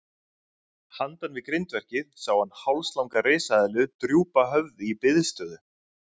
Handan við grindverkið sá hann hálslanga risaeðlu drúpa höfði í biðstöðu.